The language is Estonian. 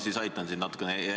Ma aitan sind natukene järjele.